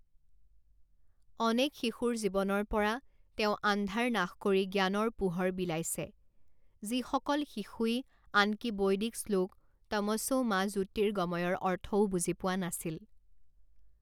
অনেক শিশুৰ জীৱনৰ পৰা তেওঁ আন্ধাৰ নাশ কৰি জ্ঞানৰ পোহৰ বিলাইছে, যিসকল শিশুই আনকি বৈদিক শ্লোক তমশো মা জ্যোতিৰ্গময়ঃ ৰ অৰ্থও বুজি পোৱা নাছিল।